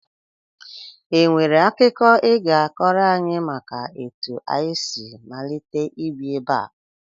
E nwere akụkọ I ga-akọrọ anyị maka etu anyị si malite ibi ebe a?